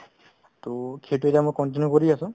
to সেইটো এতিয়া মই continue কৰি আছো